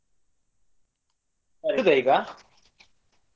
ಇಡುದಾ ಈಗ.